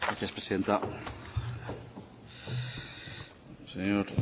gracias presidenta señor